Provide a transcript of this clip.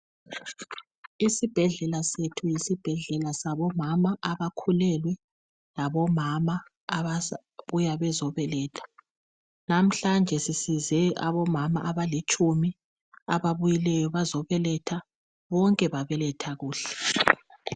Isibhedlela sethu yisibhedlela sabomama abakhulelwe labomama abasabuya bezobeletha namhlanje sisize omama abalitshumi abuyileyo bazobeletha bonke babeletha kuhle.